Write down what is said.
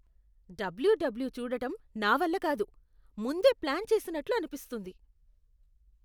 W W చూడటం నా వల్ల కాదు. ముందే ప్లాన్ చేసినట్లు అనిపిస్తుంది.